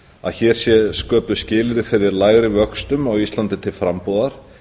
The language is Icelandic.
að hér séu sköpuð skilyrði fyrir lægri vöxtum á íslandi til frambúðar